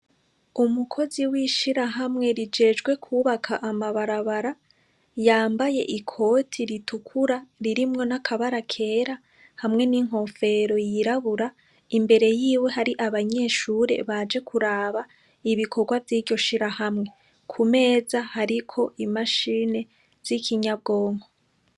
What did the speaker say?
Umukozi w'ishirahamwe rijejwe kwubaka amabarabara, yambaye ikoti ritukuru ririmwo n'akabara kera hamwe n'inkofero yirabura, imbere yiwe hari abanyeshure baje kuraba ibikorwa vy'iryo shirahamwe. Ku meza hariko imashine z'ikinyabwonko.